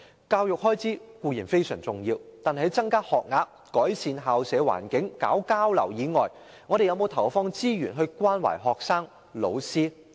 教育開支固然非常重要，但在增加學額、改善校舍環境和推行交流外，政府有否投放資源關懷學生及老師呢？